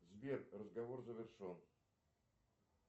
сбер разговор завершен